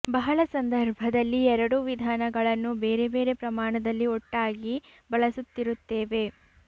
ಬಹಳ ಸಂದರ್ಭದಲ್ಲಿ ಎರಡೂ ವಿಧಾನಗಳನ್ನು ಬೇರೆ ಬೇರೆ ಪ್ರಮಾಣದಲ್ಲಿ ಒಟ್ಟಾಗಿ ಬಳಸುತ್ತಿರುತ್ತೇವೆ